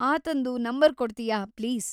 ಆತಂದು number ಕೊಡ್ತಿಯಾ, please?